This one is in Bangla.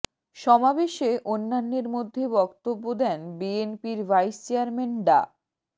সমাবেশে অন্যান্যের মধ্যে বক্তব্য দেন বিএনপির ভাইস চেয়ারম্যান ডা